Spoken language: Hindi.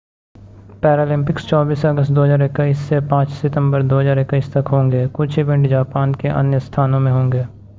पैरालिम्पिक्स 24 अगस्त 2021 से 5 सितंबर 2021 तक होंगे कुछ इवेंट जापान के अन्य स्थानों में होंगे